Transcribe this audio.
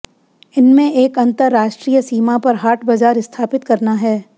इनमें एक अंतरराष्ट्रीय सीमा पर हाट बाजार स्थापित करना है